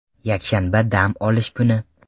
Yakshanba dam olish kuni.